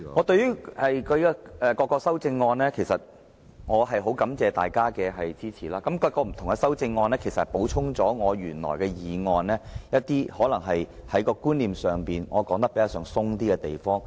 對於各項修正案，我很感謝大家的支持，而各項修正案補充了我的原議案可能在觀念上較寬鬆的地方。